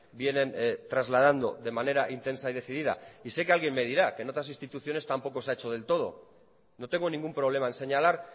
vienen trasladando de manera intensa y decidida sé que alguien me dirá que en otras instituciones tampoco se ha hecho del todo no tengo ningún problema en señalar